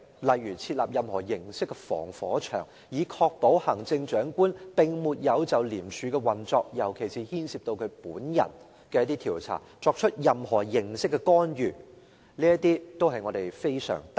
例如設立任何形式的防火牆，以確保行政長官並沒有就廉署的運作，尤其是牽涉到他本人的調查，作出任何形式的干預。